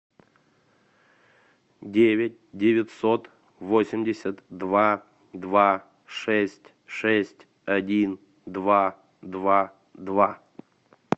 девять девятьсот восемьдесят два два шесть шесть один два два два